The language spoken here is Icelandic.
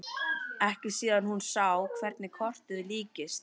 Ekki síðan hún sá hverju krotið líktist.